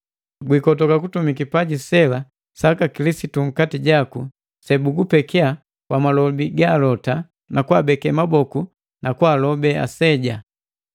Gwikotoka kutumi kipaji sela saka Kilisitu nkati jaku sebugupeki kwa malobi ga alota na kwaabeke maboku na kwaalobe aseja.